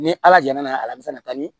Ni ala jɛna a lamisa